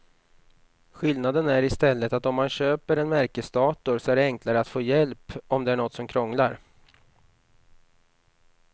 Skillnaden är i stället att om man köper en märkesdator så är det enklare att få hjälp om det är något som krånglar.